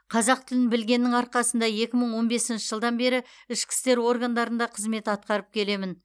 қазақ тілін білгеннің арқасында екі мың он бесінші жылдан бері ішкі істер органдарында қызмет атқарып келемін